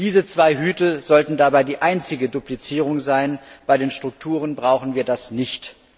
Diese zwei Hüte sollten dabei die einzige Duplizierung sein, bei den Strukturen brauchen wir das nicht.